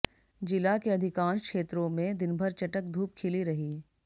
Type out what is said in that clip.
जिला के अधिकांश क्षेत्रों मेें दिनभर चटक धूप खिली रही